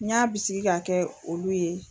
N y'a bisigi ka kɛ olu ye